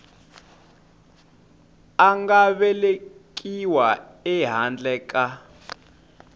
a nga velekiwa ehandle ka